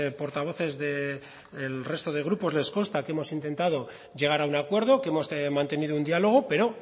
portavoces del resto de grupos les consta que hemos intentado llegar a un acuerdo que hemos mantenido un diálogo pero